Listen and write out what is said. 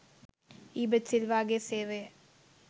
ඊබට් සිල්වාගේ සේවය